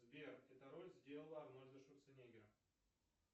сбер эта роль сделала арнольда шварценеггера